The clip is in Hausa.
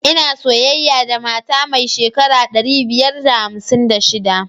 Ina soyayya da matar mai shekara ɗari biyar da hamsin da shiɗa.